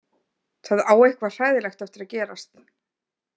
Það á eitthvað hræðilegt eftir að gerast.